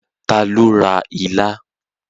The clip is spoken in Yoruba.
Ta lo ra ilá?